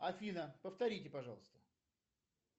афина повторите пожалуйста